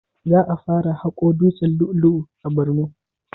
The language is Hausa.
Za a fara haƙo dutsen lu'u lu'u a borno